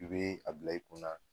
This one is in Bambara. U bee a bila i kun na